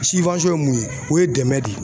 ye mun ye ,o ye dɛmɛ de ye.